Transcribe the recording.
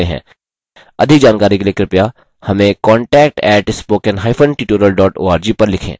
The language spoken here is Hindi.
अधिक जानकारी के लिए कृपया हमें contact @spoken hyphen tutorial org पर लिखें